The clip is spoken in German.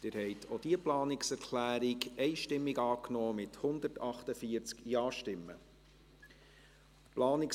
Sie haben auch die Planungserklärung 2 einstimmig angenommen, mit 148 Ja- gegen 0 Nein-Stimmen bei 0 Enthaltungen.